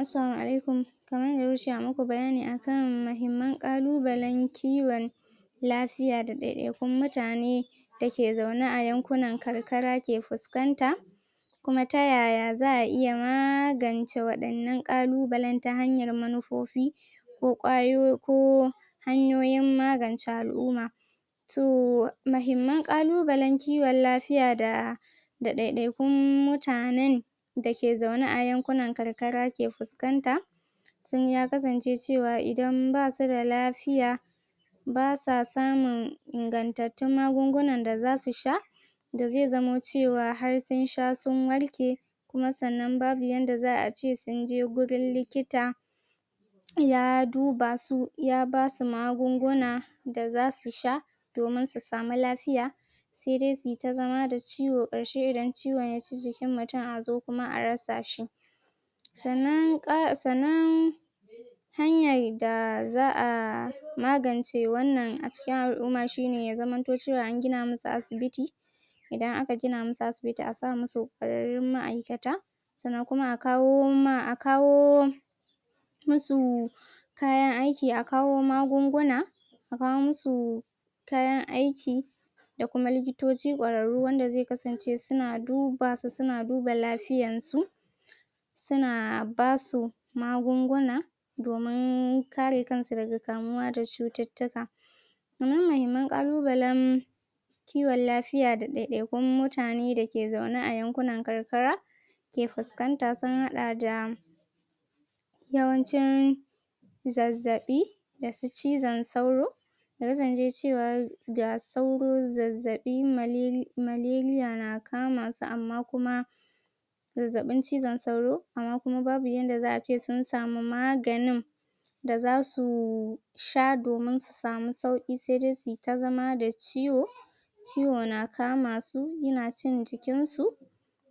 Assalamu alaikum kaman yadda kuka ce a muku bayani akan mahimman ƙalubalen kiwon lafiya da ɗaiɗaikun mutane da ke zaune a yankunan karkara ke fuskanta kuma ta yaya za'a iya magance waɗannan ƙalubalen ta hanyar manufofi ko ƙwayo ko hanyoyin magance al'umma to mahimman ƙalubalen kiwon lafiya da ɗaiɗaikun mutanen da ke zaune a yankunan karkara ke fuskanta sun ya kasance cewa idan basu da lafiya basa samun ingantattun magungunan da zasu sha da zai zamo cewa har sun sha sun warke kuma sannan babu yadda za'a yi a ce sun je gurin likita ya duba su, ya basu magunguna da zasu sha domin su samu lafiya sai dai su yi ta zama da ciwo ƙarshe idan ciwon ya ci jikin mutun a zo kuma a rasa shi sannan hanyar da za'a magance wannan a cikin al'umma shine ya zamanto cewa an gina musu asibiti idan aka gina musu asibiti a sa musu ƙwararrun ma'aikata sannan kuma a kawo ma, a kawo musu kayan aiki, a kawo magunguna a kawo musu kayan aiki da kuma likitoci ƙwararru wanda zai kasance suna duba su, suna duba lafiyan su suna basu magunguna domin kare kan su daga kamuwa da cututtuka wannan mahimman ƙalubalen kiwon lafiya da ɗaiɗaikun mutane dake zaune a yankunan karkara ke fuskanta sun haɗa da yawancin zazzaɓi, da su cizon sauro ya kasance cewa ga sauro, zazzaɓi, malaria na kama su amma kuma zazzaɓin cizon sauro amma kuma babu yadda za'a ce sun samu maganin da zasu sha domin su samu sauƙi sai dai su yi ta zama da ciwo ciwo na kama su yana cin jikin su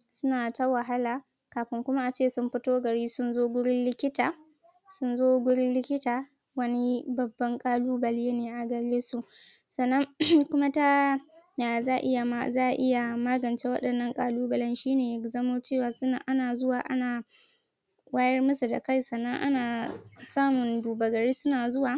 suna ta wahala kafin kuma a ce sun fito gari sun zo gurin likita sun zo gurin likita wani babban ƙalubale ne a gare su sannan kuma ta ya za'a iya magance waɗannan ƙalubalen shi ne ya zamo cewa ana zuwa ana wayar musu da kai sannan ana samun duba gari suna zuwa.